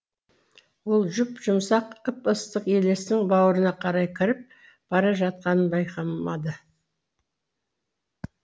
ол жұп жұмсақ ып ыстық елестің бауырына қалай кіріп бара жатқанын байқамады